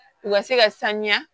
U ka se ka sanuya